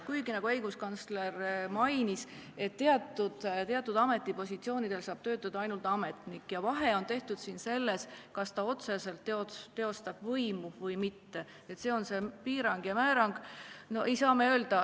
Kuigi, nagu õiguskantsler mainis, saab teatud ametipositsioonil töötada ainult ametnik ja vahe on siin selles, kas ta otseselt teostab võimu või mitte – see on see piirang ja määrang.